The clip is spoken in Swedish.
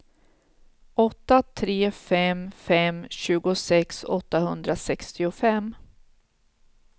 åtta tre fem fem tjugosex åttahundrasextiofem